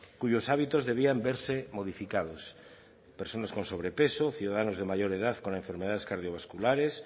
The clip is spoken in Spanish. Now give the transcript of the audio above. cuyos hábitos debían verse modificados personas con sobrepeso ciudadanos de mayor edad con enfermedades cardiovasculares